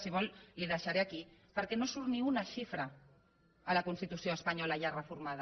si vol la hi deixaré aquí perquè no surt ni una xifra a la constitució espanyola ja reformada